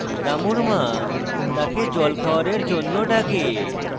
রামুর মা তাকে জল খাওয়ারের জন্য ডাকে